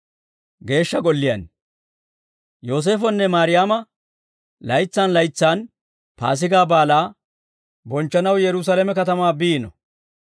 Yooseefonne Mayraama laytsaan laytsaan Paasigaa Baalaa bonchchanaw Yerusaalame katamaa biino.